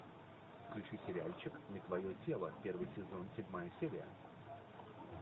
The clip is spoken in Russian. включи сериальчик не твое тело первый сезон седьмая серия